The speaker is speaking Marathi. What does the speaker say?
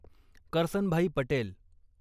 करसनभाई पटेल